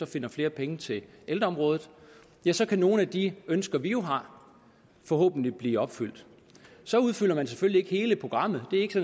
finder flere penge til ældreområdet ja så kan nogle af de ønsker som vi jo har forhåbentlig blive opfyldt så udfylder man selvfølgelig ikke hele programmet det er ikke